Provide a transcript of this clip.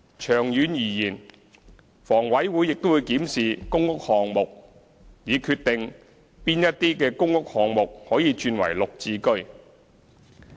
長遠而言，房委會亦會檢視公屋項目，以決定哪些公屋項目可以轉為"綠置居"。